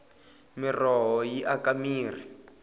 miroho yi aka mirhi